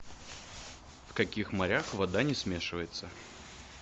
в каких морях вода не смешивается